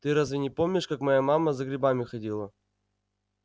ты разве не помнишь как моя мама за грибами ходила